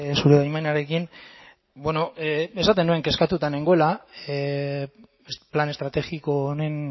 zure baimenarekin esaten nuen kezkatuta nengoela plan estrategiko honen